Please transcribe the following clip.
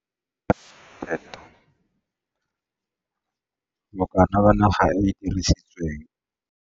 Area planted, Bokana ba naga e e dirisitsweng